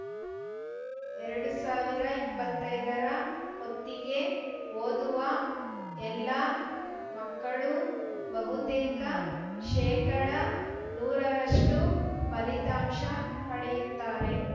ಎರಡು ಸಾವಿರ ಇಪ್ಪತ್ತೈದರ ಹೊತ್ತಿಗೆ ಓದುವ ಎಲ್ಲಾ ಮಕ್ಕಳು ಬಹುತೇಕ ಶೇಕಡ ನೂರ ರಷ್ಟುಪಲಿತಾಂಶ ಪಡೆಯುತ್ತಾರೆ